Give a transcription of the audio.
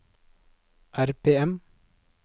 RPM